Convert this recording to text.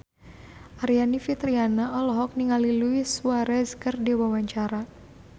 Aryani Fitriana olohok ningali Luis Suarez keur diwawancara